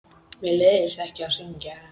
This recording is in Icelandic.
Mér leiðist ekki að syngja.